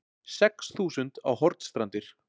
Sex þúsund á Hornstrandir